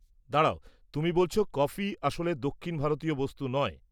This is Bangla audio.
-দাঁড়াও, তুমি বলছ কফি আসলে দক্ষিণ ভারতীয় বস্তু নয়?